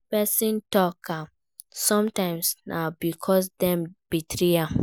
If persin talk am sometimes na because dem betray am